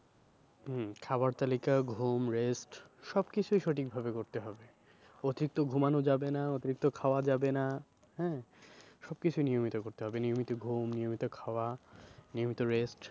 হম খাবার তালিকা ঘুম rest সব কিছুই সঠিক ভাবে করতে হবে। অতিরিক্ত ঘুমানো যাবে না অতিরিক্ত খাওয়া যাবে না হ্যাঁ? সব কিছু নিয়মিত করতে হবে নিয়মিত ঘুম নিয়মিত খাওয়া নিয়মিত rest